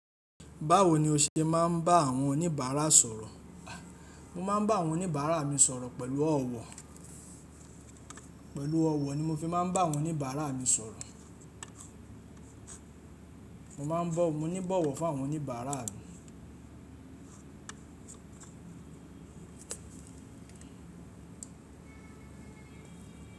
Báwo ni o ṣe má ń bá àwọn oníbàárà sọ̀rọ̀? Mo máa ń bá àwọn oníbàárà mi sọ̀rọ̀ pẹ̀lú ọ̀wọ̀. Pẹ̀lú ọ̀wọ̀ ni mo fi má ń bá àwọn oníbàárà mi sọ̀rọ̀. Moma n bo, mo ní ibọ̀wọ̀ fún àwọn oníbàárà mi.